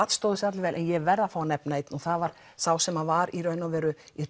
stóðu sig allir vel ég verð að fá að nefna einn og það var sá sem var í raun og veru í